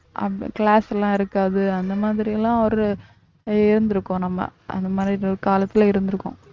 class எல்லாம் இருக்காது அந்த மாதிரி எல்லாம் ஒரு இருந்திருக்கும் நம்ம அந்த மாதிரி ஏதோ காலத்துல இருந்திருக்கும்